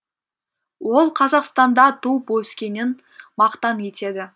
ол қазақстанда туып өскенін мақтан етеді